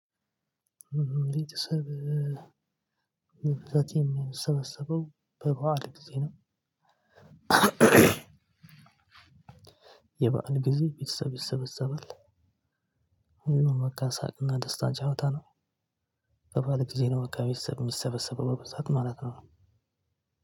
ቤተሰብ መብዛቴን ሰበሰበው በበዓል ጊዜም የበአል ጊዜ ቤተሰብ ይሰበሰበሰባል። ሳቅና ደስታ ጫውታ ነው። በበዓል ጊዜ ነው በቃ ቤተሰብ ሚሰበሰበው በብዛት ማለት ነው።